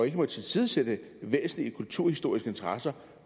ikke må tilsidesætte væsentlige kulturhistoriske interesser